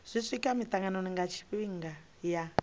swika mitanganoni nga tshifhinga ya